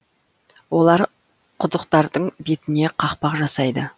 олар құдықтардың бетіне қақпақ жасайды